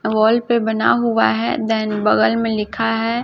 अ wall पे बना हुआ है देन बगल में लिखा है।